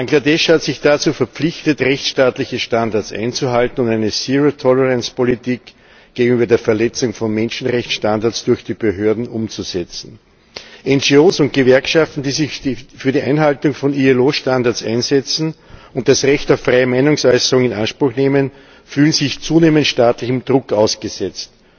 Bangladesch hat sich dazu verpflichtet, rechtsstaatliche Standards einzuhalten und eine Politik der Nulltoleranz gegenüber der Verletzung von Menschenrechtsstandards durch die Behörden umzusetzen. NGOs und Gewerkschaften, die sich für die Einhaltung von IAO Standards einsetzen und das Recht auf freie Meinungsäußerung in Anspruch nehmen, fühlen sich zunehmend staatlichem Druck ausgesetzt.